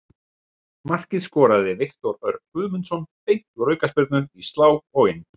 Markið skoraði Viktor Örn Guðmundsson beint úr aukaspyrnu, í slá og inn.